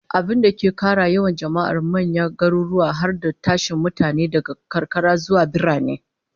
Abinda ke kara yawan jama'ar manyan garuruwa, har da tashin mutane daga karkara zuwa birane